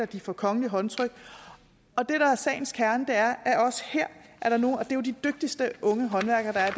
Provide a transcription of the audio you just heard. de får kongelige håndtryk og det er jo de dygtigste unge håndværkere der er